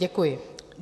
Děkuji.